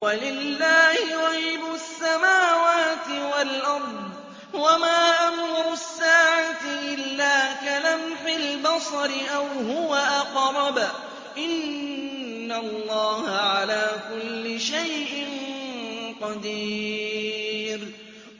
وَلِلَّهِ غَيْبُ السَّمَاوَاتِ وَالْأَرْضِ ۚ وَمَا أَمْرُ السَّاعَةِ إِلَّا كَلَمْحِ الْبَصَرِ أَوْ هُوَ أَقْرَبُ ۚ إِنَّ اللَّهَ عَلَىٰ كُلِّ شَيْءٍ قَدِيرٌ